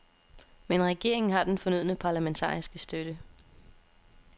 Men regeringen har den fornødne parlamentariske støtte.